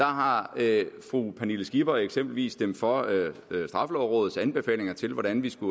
har fru pernille skipper eksempelvis stemt for straffelovrådets anbefalinger til hvordan vi skal